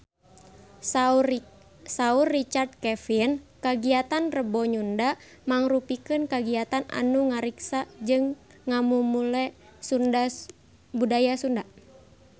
Saur Richard Kevin kagiatan Rebo Nyunda mangrupikeun kagiatan anu ngariksa jeung ngamumule budaya Sunda